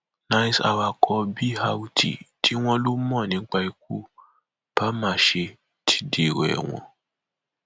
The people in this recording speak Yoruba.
nice awakọ brt tí wọn lọ mọ nípa ikú bàmáṣé ti dèrò ẹwọn